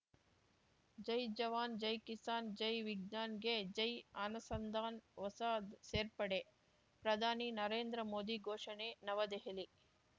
ಜೈಜವಾನ್‌ ಜೈಕಿಸಾನ್‌ ಜೈ ವಿಜ್ಞಾನ್‌ಗೆ ಜೈ ಅನುಸಂಧಾನ್‌ ಹೊಸ ಸೇರ್ಪಡೆ ಪ್ರಧಾನಿ ನರೇಂದ್ರ ಮೋದಿ ಘೋಷಣೆ ನವದೆಹಲಿ